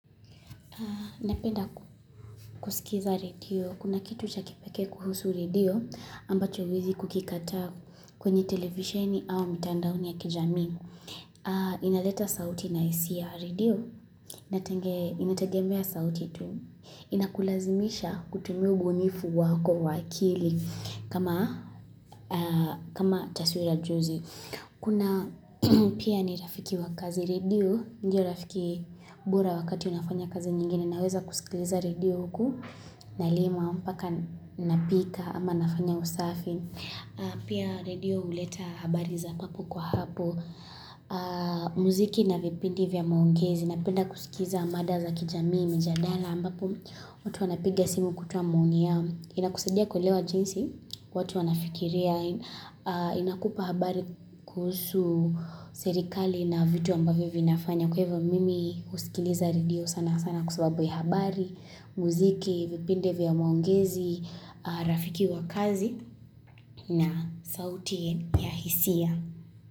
Napenda kusikiza radio. Kuna kitu cha kipeke kuhusu radio ambacho huwezi kukikata kwenye televisioni au mitandaoni ya kijami. Napenda kusikiza radio. Kuna kitu cha kipeke kuhusu radio ambacho huwezi kukikata kwenye televisioni au mitandaoni ya kijami. Inaleta sauti na hisia radio. Inakulazimisha kutumi ubunifu wako wa akili kama taswira juzi. Kuna pia ni rafiki wa kazi radio Ndiyo rafiki bira wakati unafanya kazi nyingine Naweza kusikiza radio huku Nalima, paka napika ama nafanya usafi Pia radio uleta habari za papo kwa hapo Mziki na vipindi vya maongizi Napenda kusikiza mada za kijamii, mjadala ambapo watu wanapiga simu kutuwa mwungi ya Inakusadia kulewa jinsi watu wanafikiria Inakupa habari kuhusu serikali na vitu ambavyo vinafanya Kwa hivyo mimi usikiliza radio sana sana kwa sababu ya habari Muziki, vipinde vya maongezi, rafiki wa kazi na sauti ya hisia.